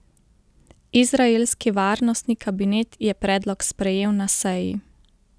Izraelski varnostni kabinet je predlog sprejel na seji.